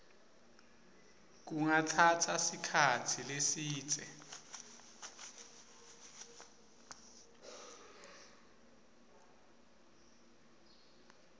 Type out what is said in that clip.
kungatsatsa sikhatsi lesidze